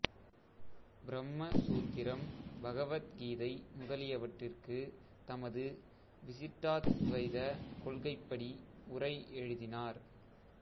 பிரம்ம சூத்திரம் பகவத் கீதை முதலியவற்றிற்கு தமது விசிட்டாத்துவைதக் கொள்கைப்படி உரை எழுதினார்